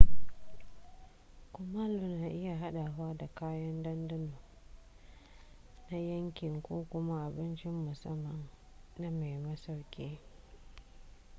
kumallo na iya haɗawa da kayan ɗanɗano na yankin ko kuma abincin musamman na mai masauki